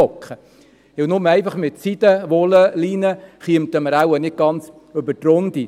Denn nur mit Seide, Wolle oder Leinen kämen wir wohl nicht ganz über die Runden.